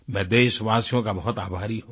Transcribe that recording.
मैं देशवासियों का बहुत आभारी हूँ